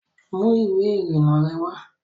Mú ìwé ìrìnnà rẹ wá